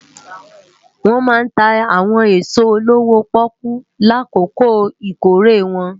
Wòn má ntá áwòn esó lówó-pòkú lákókó ikóré wòn